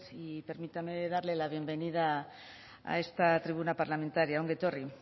y permítame darle la bienvenida a esta tribuna parlamentaria ongi etorri